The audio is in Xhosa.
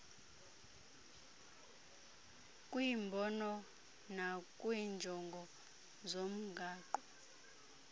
kwimbono nakwiinjongo zomgaqo